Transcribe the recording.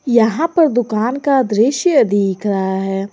यहां पर दुकान का दृश्य दिख रहा है।